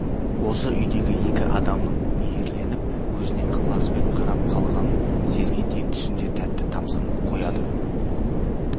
осы үйдегі екі адамның мейірленіп өзіне ықыласпен қарап қалғанын сезгендей түсінде тәтті тамсанып қояды